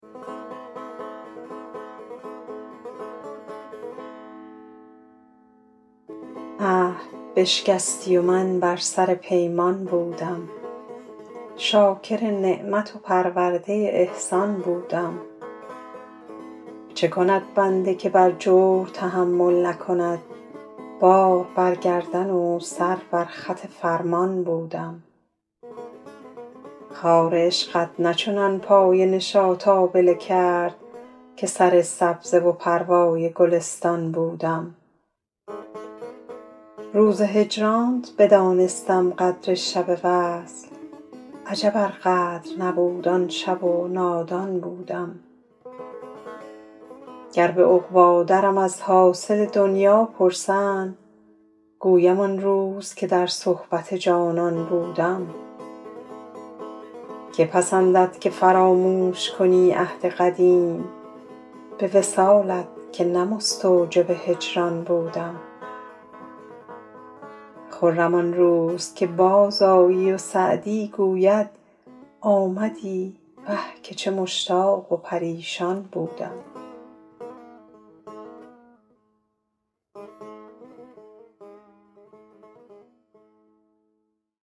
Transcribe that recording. عهد بشکستی و من بر سر پیمان بودم شاکر نعمت و پرورده احسان بودم چه کند بنده که بر جور تحمل نکند بار بر گردن و سر بر خط فرمان بودم خار عشقت نه چنان پای نشاط آبله کرد که سر سبزه و پروای گلستان بودم روز هجرانت بدانستم قدر شب وصل عجب ار قدر نبود آن شب و نادان بودم گر به عقبی درم از حاصل دنیا پرسند گویم آن روز که در صحبت جانان بودم که پسندد که فراموش کنی عهد قدیم به وصالت که نه مستوجب هجران بودم خرم آن روز که بازآیی و سعدی گوید آمدی وه که چه مشتاق و پریشان بودم